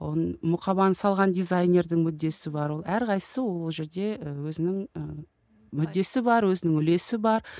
оның мұқабаны салған дизайнердің мүддесі бар ол әрқайсысы ол жерде і өзінің ііі мүддесі бар өзінің үлесі бар